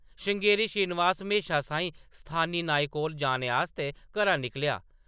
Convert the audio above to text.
श्रृंगेरी श्रीनिवास म्हेशा साहीं स्थानी नाई कोल जाने आस्तै घरा निकलेआ ।